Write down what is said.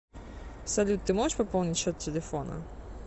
салют ты можешь пополнить счет телефона